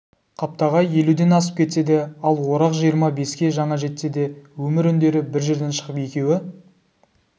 қаптағай елуден асып кетсе де ал орақ жиырма беске жаңа жетсе де өмір үндері бір жерден шығып екеуі